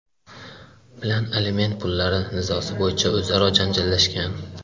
bilan aliment pullari nizosi bo‘yicha o‘zaro janjallashgan.